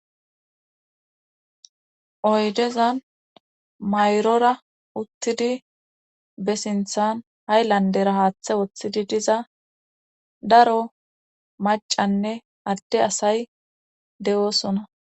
Oydezan mayrora uttidi be sinthan hayllandera haaththe woththidi diza daro macanne adde asay de'oosona.